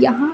यहां